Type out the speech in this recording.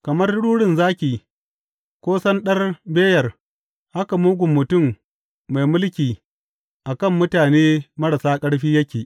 Kamar rurin zaki ko sanɗar beyar haka mugun mutum mai mulki a kan mutane marasa ƙarfi yake.